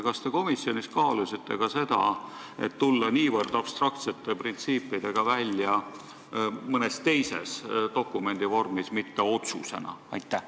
Kas te komisjonis kaalusite seda, et tulla niivõrd abstraktsete printsiipidega välja mõne teise dokumendi vormis, mitte otsuse kujul?